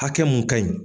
Hakɛ mun ka ɲi